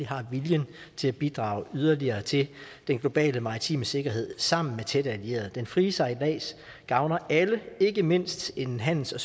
har viljen til at bidrage yderligere til den globale maritime sikkerhed sammen med tætte allierede den frie sejlads gavner alle ikke mindst en handels og